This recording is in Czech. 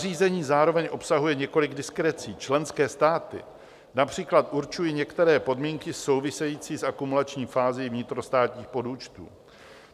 Nařízení zároveň obsahuje několik diskrecí - členské státy například určují některé podmínky související s akumulační fází vnitrostátních podúčtů.